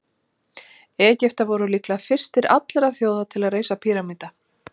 Egyptar voru líklega fyrstir allra þjóða til að reisa píramída.